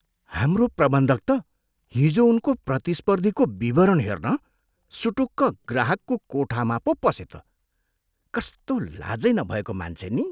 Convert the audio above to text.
हाम्रो प्रबन्धक त हिजो उनको प्रतिस्पर्धीको विवरण हेर्न सुटुक्क ग्राहकको कोठामा पो पसे त। कस्तो लाजै नभएको मान्छे नि?